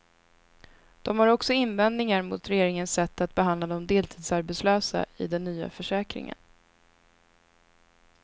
De har också invändningar mot regeringens sätt att behandla de deltidsarbetslösa i den nya försäkringen.